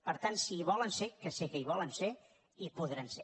per tant si hi volen ser que sé que hi volen ser hi podran ser